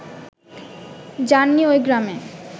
যান নি ওই গ্রামে